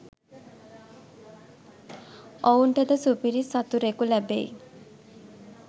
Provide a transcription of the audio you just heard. ඔවුන්ට ද සුපිරි සතුරෙකු ලැබෙයි